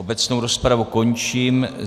Obecnou rozpravu končím.